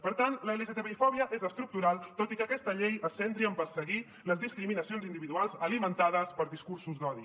per tant l’lgtbi fòbia és estructural tot i que aquesta llei es centri en perseguir les discriminacions individuals alimentades per discursos d’odi